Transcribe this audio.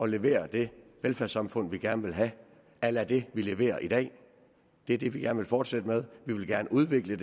levere det velfærdssamfund vi gerne vil have a la det vi leverer i dag det er det vi gerne vil fortsætte med vi vil gerne udvikle